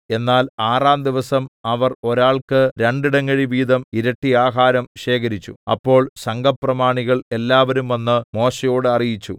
എന്നാൽ ആറാം ദിവസം അവർ ഒരാൾക്ക് രണ്ടിടങ്ങഴിവീതം ഇരട്ടി ആഹാരം ശേഖരിച്ചു അപ്പോൾ സംഘപ്രമാണികൾ എല്ലാവരും വന്ന് മോശെയോട് അറിയിച്ചു